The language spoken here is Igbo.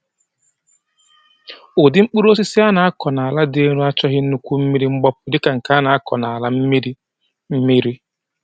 Ụdị mkpụrụ osisi a na-akọ n’ala dị elu achọghị nnukwu mmiri mgbapụ dị ka nke a na-akọ n’ala mmiri mmiri.